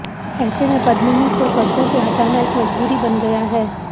ऐसे में पद्ममिनी को सड़कों से हटाना एक मजबूरी बन गया है